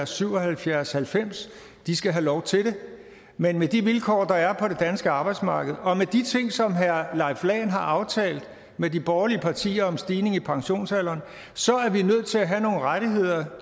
syv og halvfjerds halvfems skal have lov til det men med de vilkår der er på det danske arbejdsmarked og med de ting som herre leif lahn jensen har aftalt med de borgerlige partier om stigning i pensionsalderen er vi nødt til at have nogle rettigheder